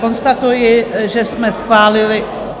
Konstatuji, že jsme schválili...